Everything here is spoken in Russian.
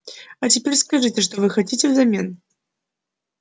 а теперь скажите что вы хотите взамен